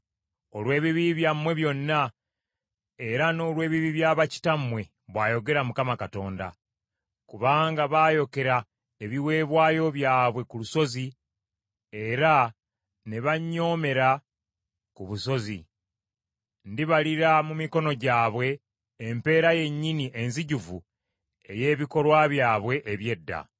olw’ebibi byammwe byonna era n’olw’ebibi bya bakitammwe,” bw’ayogera Mukama Katonda. “Kubanga baayokera ebiweebwayo byabwe ku lusozi era ne bannyoomera ku busozi, ndibalira mu mikono gyabwe empeera yennyini enzijuvu ey’ebikolwa byabwe eby’edda.”